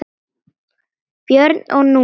Björg og Númi.